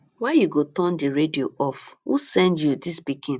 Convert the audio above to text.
why you go turn the radio off who send you dis pikin